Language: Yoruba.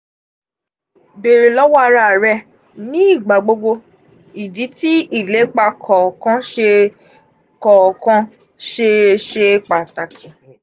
bere lowo ara re ni igbagbogbo idi ti ilepa kookan sese kookan sese pataki.